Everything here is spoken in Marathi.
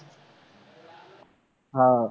आह